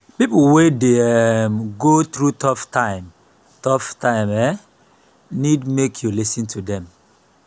pipo wey dey um go thru tough time tough time um nid mek yu lis ten to them.